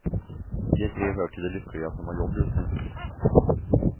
De tre hör till de lyckliga som har jobb just nu.